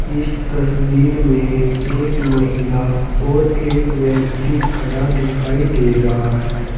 इस तस्वीर में एक महिला और एक व्यक्ति खड़ा दिखाई दे रहा है।